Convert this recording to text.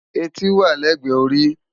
Éti wá lègbè óri